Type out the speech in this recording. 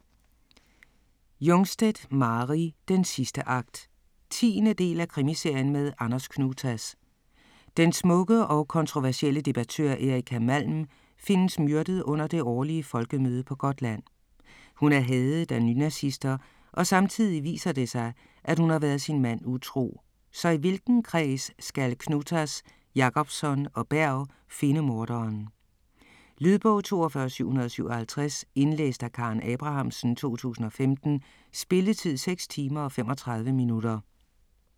Jungstedt, Mari: Den sidste akt 10. del af Krimiserien med Anders Knutas. Den smukke og kontroversielle debattør Erika Malm findes myrdet under det årlige folkemøde på Gotland. Hun er hadet af nynazister og samtidig viser det sig, at hun har været sin mand utro - så i hvilken kreds skal Knutas, Jacobsson og Berg finde morderen? Lydbog 42757 Indlæst af Karen Abrahamsen, 2015. Spilletid: 6 timer, 35 minutter.